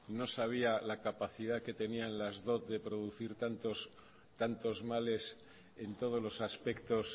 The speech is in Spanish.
no sabía la capacidad que tenían las dot de producir tantos males en todos los aspectos